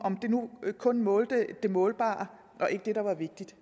de nu kun målte det målbare og ikke det der er vigtigt